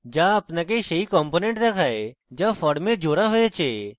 যা আপনাকে সেই components দেখায় যা ফর্মে জোড়া হয়েছে